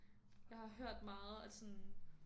Jeg har hørt meget at sådan